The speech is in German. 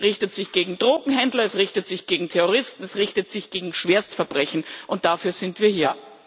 Es richtet sich gegen Drogenhändler, es richtet sich gegen Terroristen, es richtet sich gegen Schwerstverbrechen, und dafür sind wir hier.